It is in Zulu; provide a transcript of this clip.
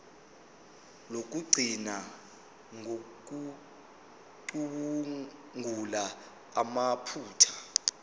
lokugcina ngokucubungula amaphutha